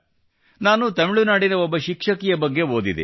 ನಾನು ತಮಿಳುನಾಡಿನ ಒಬ್ಬ ಶಿಕ್ಷಕಿಯ ಬಗ್ಗೆ ಓದಿದೆ